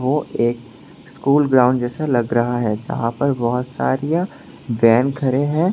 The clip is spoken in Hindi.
और एक स्कूल ग्राउंड जैसा लग रहा है जहां पर बहुत सारियां वैन खड़े हैं।